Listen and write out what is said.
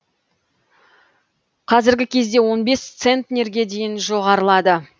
қазіргі кезде он бес центнерге дейін жоғарылады